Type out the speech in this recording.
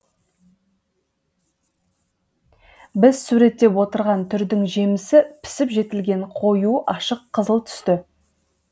біз суреттеп отырған түрдің жемісі пісіп жетілген қою ашық қызыл түсті